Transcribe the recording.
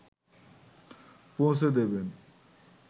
পৌঁছে দেবেন